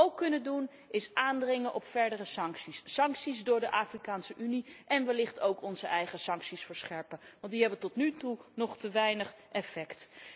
Wat wij ook kunnen doen, is aandringen op verdere sancties, sancties door de Afrikaanse Unie en wellicht ook onze eigen sancties verscherpen, want die hebben tot nu toe nog te weinig effect.